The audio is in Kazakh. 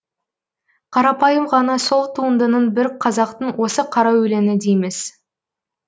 қарапайым ғана сол туындының бір қазақтың осы қара өлеңі дейміз